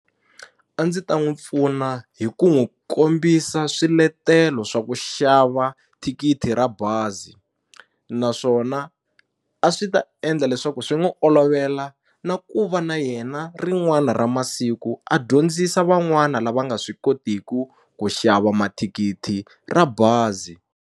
A ndzi ta n'wi pfuna hi ku n'wu kombisa swiletelo swa ku xava thikithi ra bazi naswona a swi ta endla leswaku swi n'wu olovela na ku va na yena rin'wana ra masiku a dyondzisa van'wana lava nga swi kotiku ku xava mathikithi ra bazi.